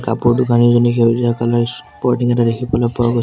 কাপোৰ দোকানিজনী সেউজীয়া কালাৰ স্পৰ্টিং এটা দেখিবলৈ পোৱা গৈছে।